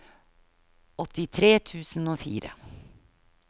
åttitre tusen og fire